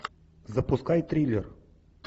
запускай триллер